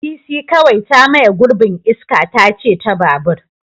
Bisi kawai ta maye gurbin iska tace ta babur.